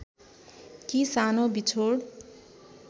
कि सानो बिछोड